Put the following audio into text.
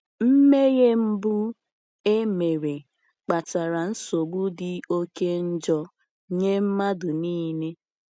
Mmehie mbụ emere kpatara nsogbu dị oke njọ nye mmadụ niile.